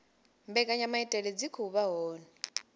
mbekanyamaitele dzi khou vha hone